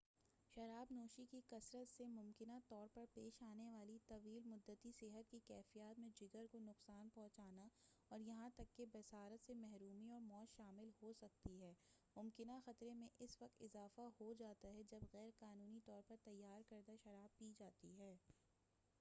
شراب نوشی کی کثرت سے ممکنہ طور پر پیش آنے والی طویل مدتی صحت کی کیفیات میں جگر کو نقصان پہنچنا اور یہاں تک کہ بصارت سے محرومی اور موت شامل ہو سکتی ہے ممکنہ خطرے میں اس وقت اضافہ ہو جاتا ہے جب غیر قانونی طور پر تیار کردہ شراب پی جاتی ہے